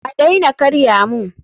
A daina karya mun!